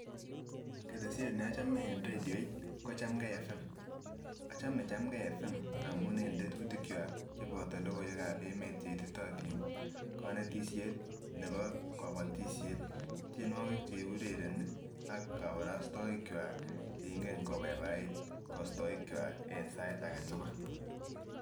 Ketesyet ne ochomee en radiot ko chamgee evem, ochomee chamgee evem amun en tetutik gwak cheboto logoiwek ab emet cheititotin konetisyet nebo kobotisyet ,tyenwokik cheurereni ak koborostoik gwak cheingen kobaibait kostoik gwak en sait agetukul.